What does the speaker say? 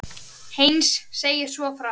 Heinz segir svo frá